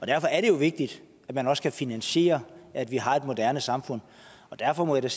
derfor er det vigtigt at man også kan finansiere at vi har et moderne samfund og derfor må jeg